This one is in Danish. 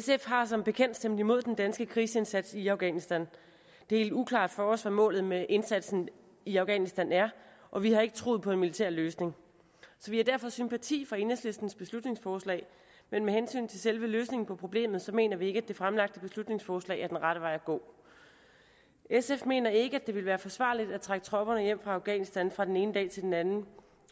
sf har som bekendt stemt imod den danske krigsindsats i afghanistan det er helt uklart for os hvad målet med indsatsen i afghanistan er og vi har ikke troet på en militær løsning vi har derfor sympati for enhedslistens beslutningsforslag men med hensyn til selve løsningen på problemet mener vi ikke at det fremsatte beslutningsforslag er den rette vej at gå sf mener ikke at det vil være forsvarligt at trække tropperne hjem fra afghanistan fra den ene dag til den anden